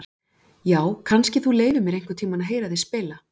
Já, kannski þú leyfir mér einhvern tíma að heyra þig spila.